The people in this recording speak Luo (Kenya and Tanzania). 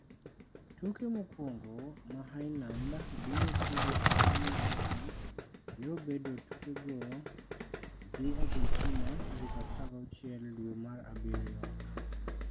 Tuke mokwongo ma Iceland biro tugo e piny Russia biro bedo tukego gi Argentina tarik 16 dwe mar abiryo.